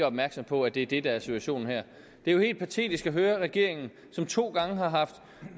opmærksom på at det er det der er situationen her det er jo helt patetisk at høre at regeringen som to gange